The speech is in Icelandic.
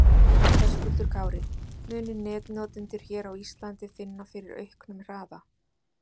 Höskuldur Kári: Munu netnotendur hér á Íslandi finna fyrir auknum hraða?